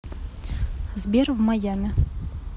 сбер в майами